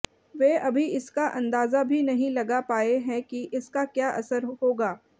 वे अभी इसका अंदाजा भी नहीं लगा पाए हैं कि इसका क्या असर होगा